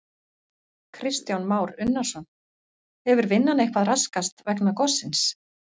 Kristján Már Unnarsson: Hefur vinnan eitthvað raskast vegna gossins?